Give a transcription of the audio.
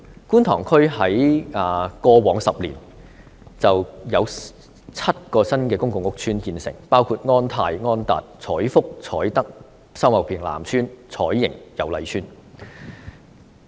觀塘區過去10年有7個公共屋邨建成，包括安泰邨、安達邨、彩福邨、彩德邨、秀茂坪南邨、彩盈邨和油麗邨。